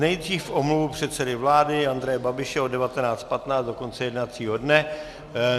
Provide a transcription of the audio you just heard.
Nejdřív omluvu předsedy vlády Andreje Babiše od 19.15 do konce jednacího dne.